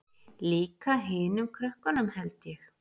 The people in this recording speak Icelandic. Líka hinum krökkunum held ég.